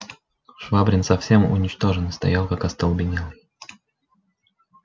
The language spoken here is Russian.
швабрин совсем уничтоженный стоял как остолбенелый